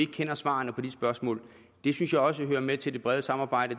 kender svarene på de spørgsmål det synes jeg også hører med til det brede samarbejde